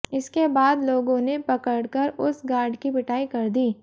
इसके बाद लोगों ने पकड़ कर उस गार्ड की पिटाई कर दी